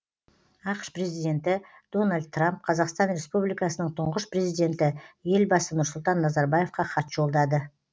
ақш президенті дональд трамп қазақстан республикасының тұңғыш президенті елбасы нұрсұлтан назарбаевқа хат жолдады